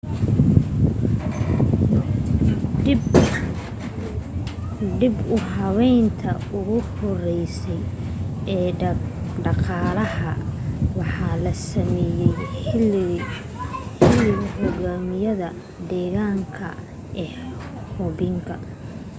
dib u habeynti ugu horeysay ee dhaqalaha waxaa la sameeyay xiligii hogaamiyaha deng xiaoping